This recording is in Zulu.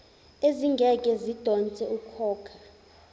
ezingeke zidonse ukhokha